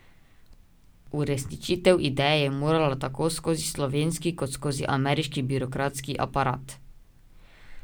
Uresničitev ideje je morala tako skozi slovenski kot skozi ameriški birokratski aparat.